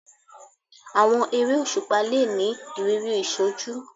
Àwọn eré òṣùpá le ni ìrírí ìṣojú